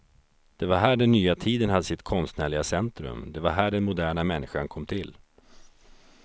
Det var här den nya tiden hade sitt konstnärliga centrum, det var här den moderna människan kom till.